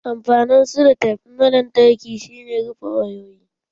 Amfanin selotef na lantarki shi ne rufe wayoyi.